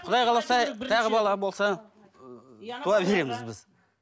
құдай қаласа тағы бала болса туа береміз біз